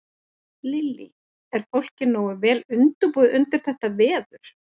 Lillý: Er fólk nógu vel undirbúið undir þetta veður?